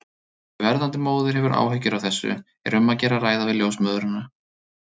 Ef verðandi móðir hefur áhyggjur af þessu er um að gera að ræða við ljósmóðurina.